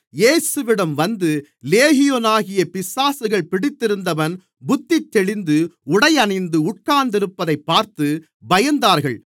இயேசுவிடம் வந்து லேகியோனாகிய பிசாசுகள் பிடித்திருந்தவன் புத்தி தெளிந்து உடை அணிந்து உட்கார்ந்திருப்பதைப் பார்த்து பயந்தார்கள்